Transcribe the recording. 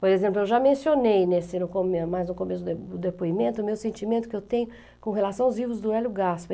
Por exemplo, eu já mencionei nesse no come, mais no começo do depoi do depoimento o meu sentimento que eu tenho com relação aos livros do Hélio Gasper.